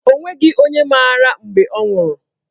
O nweghị onye mara mgbe ọ nwụrụ.